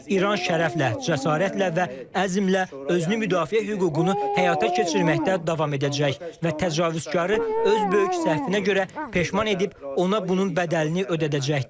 İran şərəflə, cəsarətlə və əzmlə özünü müdafiə hüququnu həyata keçirməkdə davam edəcək və təcavüzkarı öz böyük səhvinə görə peşman edib ona bunun bədəlini ödədəcəkdir.